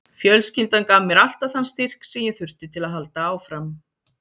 Fjölskyldan gaf mér alltaf þann styrk sem ég þurfti til að halda áfram.